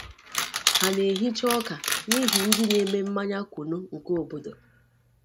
Ha na-ehicha ọka n’ihi ndị na-eme mmanya kunu nke obodo.